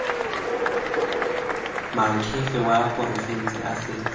moakhaefe wa porofense a setse